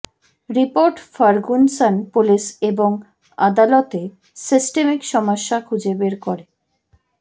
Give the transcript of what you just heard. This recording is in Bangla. রিপোর্ট ফার্গুসন পুলিশ এবং আদালতে সিস্টেমিক সমস্যা খুঁজে বের করে